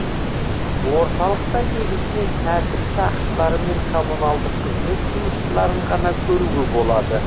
орталықта негізінен тәртіп сақшылары мен коммуналдық қызмет жұмысшыларын ғана көруге болады